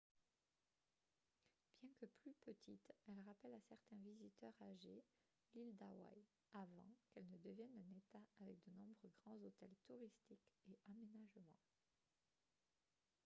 bien que plus petite elle rappelle à certains visiteurs âgés l'île d'hawaii avant qu'elle ne devienne un état avec de nombreux grands hôtels touristiques et aménagements